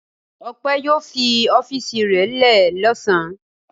Ọpẹ́ yóò fi ọ́fíísì rẹ̀ lẹ́ ẹ̀ lọ́sàn-án.